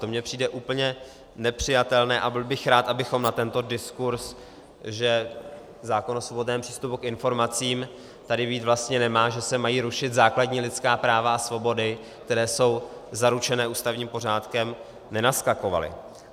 To mi přijde úplně nepřijatelné a byl bych rád, abychom na tento diskurz, že zákon o svobodném přístupu k informacím tady být vlastně nemá, že se mají rušit základní lidská práva a svobody, které jsou zaručené ústavním pořádkem, nenaskakovali.